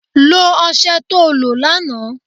Lo ọsẹ to lo lánàá